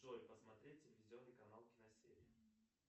джой посмотреть телевизионный канал киносерия